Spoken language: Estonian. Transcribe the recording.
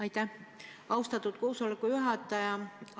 Aitäh, austatud koosoleku juhataja!